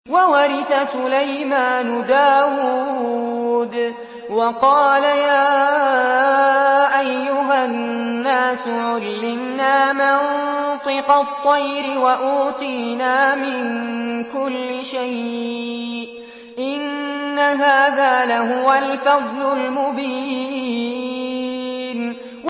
وَوَرِثَ سُلَيْمَانُ دَاوُودَ ۖ وَقَالَ يَا أَيُّهَا النَّاسُ عُلِّمْنَا مَنطِقَ الطَّيْرِ وَأُوتِينَا مِن كُلِّ شَيْءٍ ۖ إِنَّ هَٰذَا لَهُوَ الْفَضْلُ الْمُبِينُ